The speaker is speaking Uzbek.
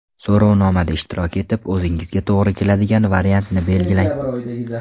So‘rovnomada ishtirok etib, o‘zingizga to‘g‘ri keladigan variantni belgilang.